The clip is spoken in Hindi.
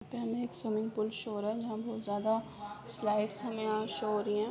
पहले एक स्विमिंग पूल शो हो रहा है जहाँ बहुत जादा स्लाइड्स हमे यहाँ शो हो रही हैं ।